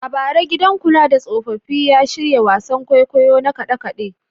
A bara, gidan kula da tsofaffi ya shirya wasan kwaikwayo na kade-kade.